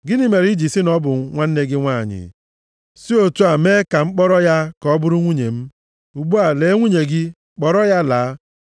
Gịnị mere i ji sị na ọ bụ nwanne gị nwanyị, si otu a mee m ka m kpọrọ ya ka ọ bụrụ nwunye m? Ugbu a, lee nwunye gị, kpọrọ ya laa.”